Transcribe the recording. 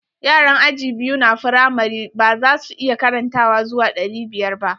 Yaran aji biyu na firamari ba za su iya karantawa zuwa ɗari biyar ba.